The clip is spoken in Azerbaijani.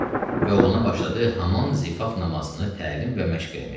və oğluna başladı haman zifaf namazını təlim və məşq eləməyə.